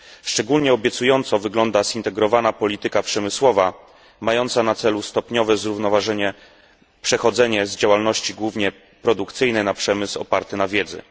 Szczególnie obiecująco wygląda zintegrowana polityka przemysłowa mająca na celu stopniowe zrównoważenie, przechodzenie z działalności głównie produkcyjnej na przemysł oparty na wiedzy.